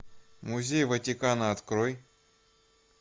музей ватикана открой